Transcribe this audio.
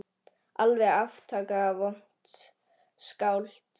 Alveg aftaka vont skáld.